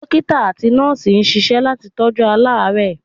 Dókítà àti Nọ́ọ̀sì ń ṣisẹ́ láti tọ́jú aláàrẹ́ẹ̀.